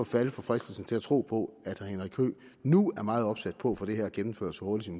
falde for fristelsen til at tro på at herre henrik høegh nu er meget opsat på at få det her gennemført så hurtigt